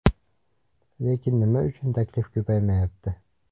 Lekin nima uchun taklif ko‘paymayapti?